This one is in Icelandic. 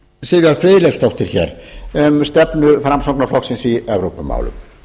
sivjar friðleifsdóttur hér um stefnu framsóknarflokksins í evrópumálum